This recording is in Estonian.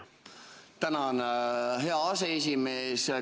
Tänan, hea aseesimees!